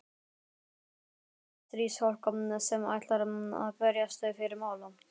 Heldur erlent stríðsfólk sem ætlar að berjast fyrir mála.